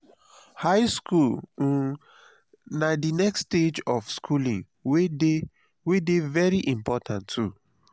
high school um na the next stage of schooling wey de wey de very important too